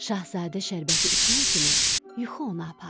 Şahzadə şərbəti içən kimi yuxu onu apardı.